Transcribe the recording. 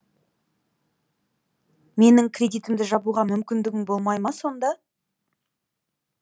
менің кредитімді жабуға мүмкіндігің болмай ма сонда